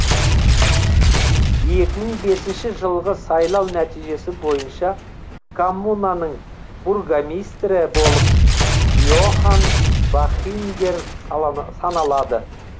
екі мың бесінші жылғы сайлау нәтижесі бойынша коммунаның бургомистрі болып йохан бахингер салана саналады